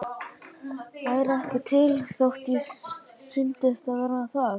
Væri ekki til þótt ég sýndist vera það.